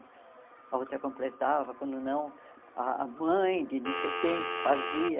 A outra completava, quando não, ah a mãe de não sei quem fazia.